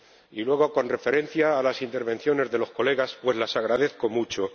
Y luego, con referencia a las intervenciones de los colegas, pues las agradezco mucho.